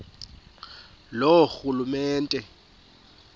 loorhulumente